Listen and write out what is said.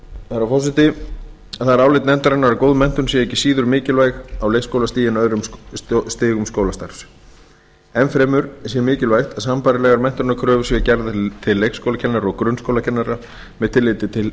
herra forseti það er álit nefndarinnar að góð menntun sé ekki síður mikilvæg á leikskólastigi en öðrum stigum skólastarfs enn fremur sé mikilvægt að sambærilegar menntunarkröfur séu gerðar til leikskólakennara og grunnskólakennara með tilliti til